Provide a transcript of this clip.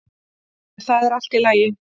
En það er allt í lagi.